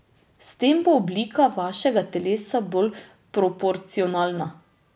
S tem bo oblika vašega telesa bolj proporcionalna.